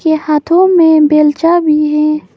हाथों में बेलचा भी है।